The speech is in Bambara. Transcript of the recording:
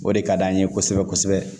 O de ka d'an ye kosɛbɛ kosɛbɛ